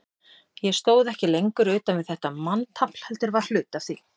Ég stóð ekki lengur utan við þetta manntafl, heldur var hluti af því.